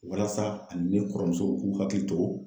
Walasa, ani ne kɔrɔmuso k'u hakili to